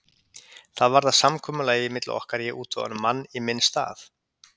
Það varð að samkomulagi milli okkar að ég útvegaði honum mann í minn stað.